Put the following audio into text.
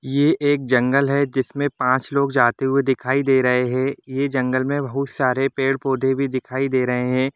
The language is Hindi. ये एक जंगल है जिसमें पांच लोग जाते हुए दिख दे रहे हैं जंगल में बहुत सारे पेड़ - पोधे भी दिखाई दे रहे हैं ।